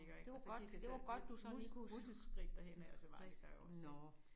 Det var godt det var du godt sådan lige kunne nåh